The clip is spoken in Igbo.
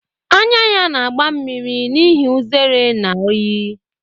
Anya ya na-agba mmiri n’ihi uzere na oyi